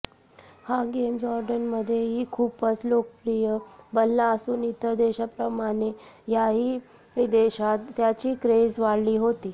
हा गेम जॉरडनमध्येही खुपच लोकप्रिय बनला असून इतर देशांप्रमाणे याही देशात त्याची क्रेझ वाढली होती